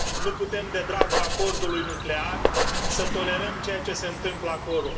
Nu putem, de dragul Acordului nuclear, să tolerăm ceea ce se întâmplă acolo.